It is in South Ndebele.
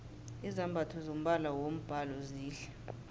izambatho zombala wombhalo zihle